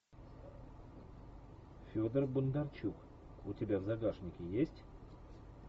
федор бондарчук у тебя в загашнике есть